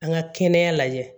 An ka kɛnɛya lajɛ